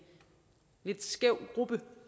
lidt skæv gruppe